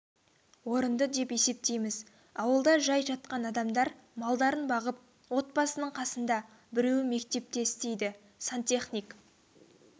орынды деп есептейміз ауылда жай жатқан адамдар малдарын бағып отбасының қасында біреуі мектепте істейді сантехник